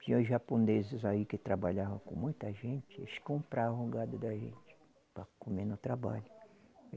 Tinha os japoneses aí que trabalhavam com muita gente, eles compravam gado da gente para comer no trabalho.